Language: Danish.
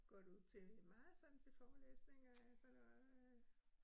Går du til meget sådan til forelæsninger og sådan noget øh